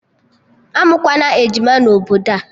Amụkwana ejima na obodo a!